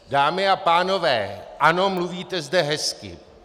Dámy a pánové, ano, mluvíte zde hezky.